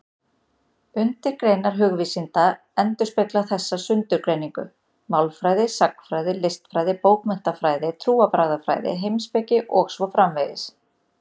Undirgreinar hugvísinda endurspegla þessa sundurgreiningu: málfræði, sagnfræði, listfræði, bókmenntafræði, trúarbragðafræði, heimspeki og svo framvegis.